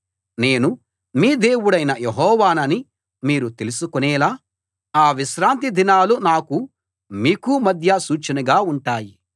నేను మీ దేవుడనైన యెహోవానని మీరు తెలుసుకునేలా ఆ విశ్రాంతిదినాలు నాకూ మీకూ మధ్య సూచనగా ఉంటాయి